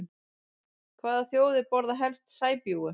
Hvaða þjóðir borða helst sæbjúgu?